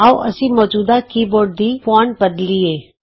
ਆਉ ਅਸੀਂ ਮੌਜੂਦਾ ਕੀਬੋਰਡ ਦੀ ਫੌਂਟ ਬਦਲੀਏ